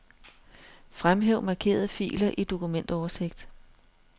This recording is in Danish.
Fremhæv markerede filer i dokumentoversigt.